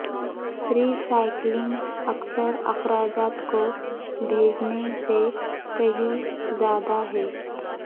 ری cycling اکثر اخراجات کو بھیجنے سے کہیں زیادہ ہے